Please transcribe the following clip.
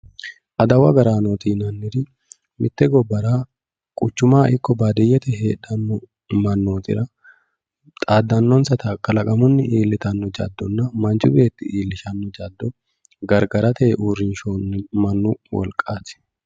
adawu agaraanooti yinanniri quchumaho ikko baadiyyete heedhanno mannootira xaaddannonsata kalaqamunni iilltanno jaddonna manchi beetti iillishanno jaddo gargarate uurrinsoonni mannu wolqaati.